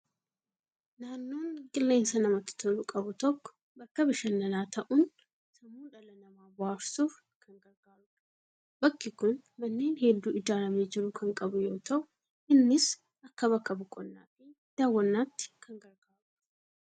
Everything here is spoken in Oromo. Naannoon qilleensa namatti tolu qabu tokko, bakka bashannanaa ta'uun sammuu dhala namaa bohaarsuuf kan gargaarudha. Bakki kun manneen hedduu ijaaramee jiru kan qabu yoo ta'u, innis akka bakka boqonnaa fi daawwannaatti kan gargaarudha.